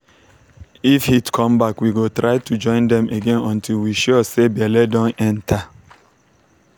if animal dey stressed e fit miss heat period and no go born quick. go born quick.